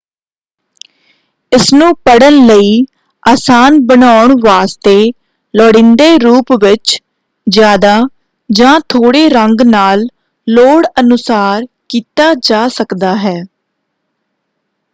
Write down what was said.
ਇਸਨੂੰ ਪੜ੍ਹਨ ਲਈ ਆਸਾਨ ਬਣਾਉਣ ਵਾਸਤੇ ਲੁੜੀਂਦੇ ਰੂਪ ਵਿੱਚ ਜ਼ਿਆਦਾ ਜਾਂ ਥੋੜੇ ਰੰਗ ਨਾਲ ਲੋੜ ਅਨੁਸਾਰ ਕੀਤਾ ਜਾ ਸਕਦਾ ਹੈ।